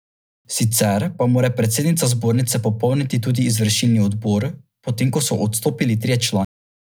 Sicer pa mora predsednica zbornice popolniti tudi izvršilni odbor, potem ko so odstopili trije člani.